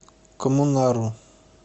коммунару